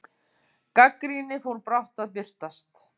Gagnrýni fór brátt að birtast.